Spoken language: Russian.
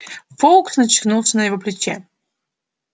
фоукс качнулся на его плече